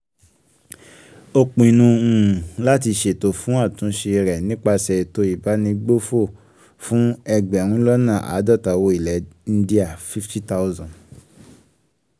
ó um pinnu um láti um ṣètò fún àtúnṣe rẹ̀ nípasẹ̀ ètò ìbánigbófò fún ẹgbẹ̀rúnlọ́nà-àádọ́ta owó ilẹ̀ india ( fifty thousand ).